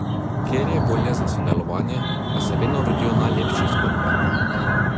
Kjer je volja za sodelovanje pa se vedno rodijo najlepše zgodbe.